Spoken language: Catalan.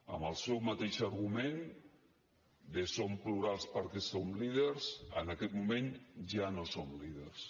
amb el seu mateix argument de som plurals perquè som líders en aquest moment ja no som líders